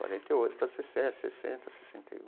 Quarenta e oito para sessenta, sessenta, sessenta e um.